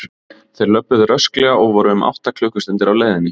Þeir löbbuðu rösklega og voru um átta klukkustundir á leiðinni.